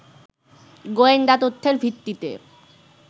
গোয়েন্দা তথ্যের ভিত্তিতে